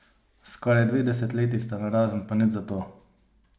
Skoraj dve desetletji sta narazen, pa nič zato!